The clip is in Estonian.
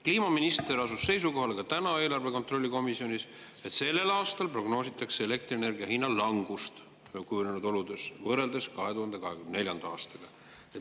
Kliimaminister asus täna eelarve kontrolli komisjonis seisukohale, et sellel aastal prognoositakse kujunenud oludes elektrienergia hinna langust võrreldes 2024. aastaga.